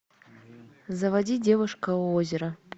заводи девушка у озера